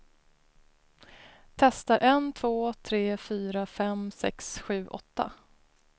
Testar en två tre fyra fem sex sju åtta.